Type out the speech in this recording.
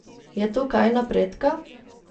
Je tu kaj napredka?